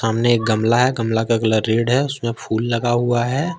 सामने एक गमला हैं गमला का कलर रेड है उसमें फूल लगा हुआ हैं।